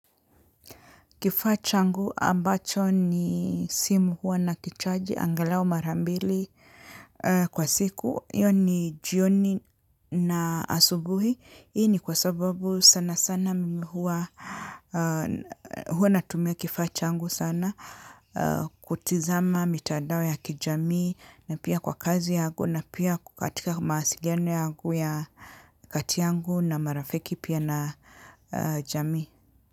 Kifaa changu ambacho ni simu huwa nakichaji, angalau mara mbili kwa siku. Hiyo ni jioni na asubuhi. Hii ni kwa sababu sana sana mimi huwa, huwa natumia kifaa changu sana. Kutizama, mitandao ya kijamii, na pia kwa kazi yangu, na pia katika mawasiliano yangu ya kati yangu na marafiki pia na jamii.